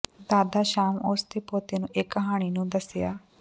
ਦਾਦਾ ਸ਼ਾਮ ਉਸ ਦੇ ਪੋਤੇ ਨੂੰ ਇੱਕ ਕਹਾਣੀ ਨੂੰ ਦੱਸਿਆ